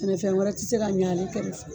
Sɛnɛfɛn wɛrɛ ti se ka ɲa n'i tɛ muso ye.